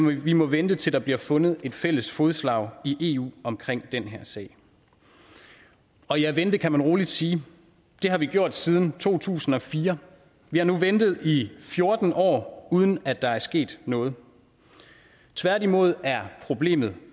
vi må vente til der bliver fundet et fælles fodslag i eu omkring den her sag og ja vente kan man roligt sige det har vi gjort siden to tusind og fire vi har nu ventet i fjorten år uden at der er sket noget tværtimod er problemet